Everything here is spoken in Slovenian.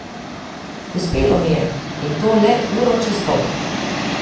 Uspelo mi je, in to le uro čez poldan.